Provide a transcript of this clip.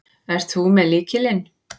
Ert þú með lykilinn?